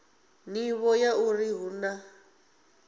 nḓivho ya uri hu na